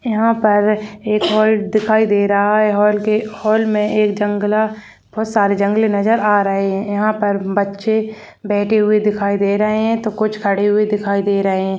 यंहा पर एक हॉल दिखाई दी रहा है हॉल के हॉल मे एक जंगला बोहत सारी जंगले नजर आ रही है यंहा पर बच्चे बैठे हुए दिखाई दे रहे है तो कुछ खड़े हुए दिखाई दे रहे है।